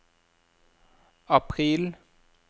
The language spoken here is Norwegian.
april